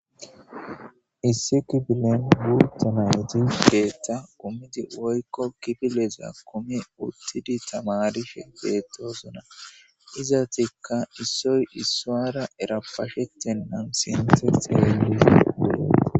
issiki filen gu temaedi geetta komidi oykko kibileza komi uttidi tamarishe geetoosona iza tikka issoy iswara erapashette nam sinseielis bule